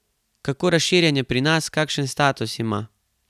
Kako razširjen je pri nas, kakšen status ima?